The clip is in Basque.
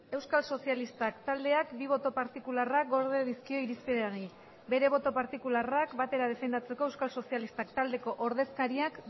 euskal sozialistak taldeak bi boto partikularrak gorde dizkio irizpenari bere boto partikularrak batera defendatzeko euskal sozialistak taldeko ordezkariak